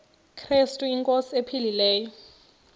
krestu inkosi ephilileyo